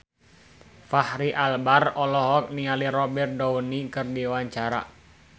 Fachri Albar olohok ningali Robert Downey keur diwawancara